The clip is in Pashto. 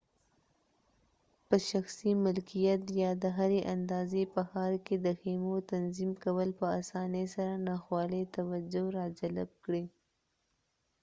په شخصي ملکیت یا د هري اندازې په ښار کې د خیمو تنظیم کول په اسانۍ سره ناخوالې توجه راجلب کړي